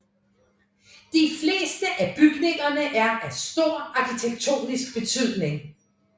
De fleste af bygningerne er af stor arkitektonisk betydning